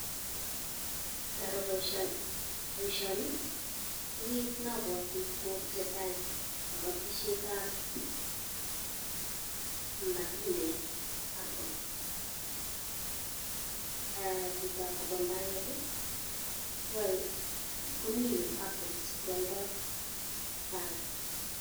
Ngaroo boisioni koabwati ole tesetai kobotisiet ab apples, nebo mbaret komine apples sikwoldoi kokakes.